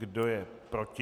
Kdo je proti?